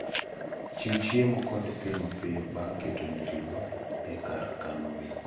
Chiw chiemo kod pi mapiyo bang' keto nyirigo e kar kano winy.